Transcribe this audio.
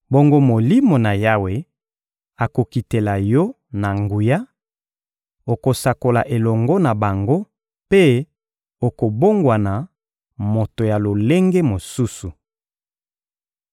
Bongo Molimo na Yawe akokitela yo na nguya, okosakola elongo na bango, mpe okobongwana moto ya lolenge mosusu.